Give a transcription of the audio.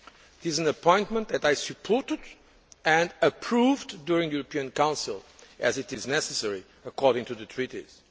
It is an appointment that I supported and approved during the European Council, as it is necessary according to the treaties.